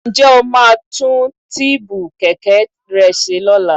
Ǹjẹ́ o máa tún tíìbù kẹ̀kẹ́ rẹ ṣe lọ́la?